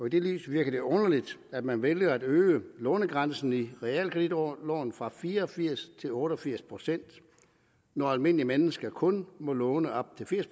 i det lys virker det underligt at man vælger at øge lånegrænsen i realkreditloven fra fire og firs til otte og firs procent når almindelige mennesker kun må låne op til firs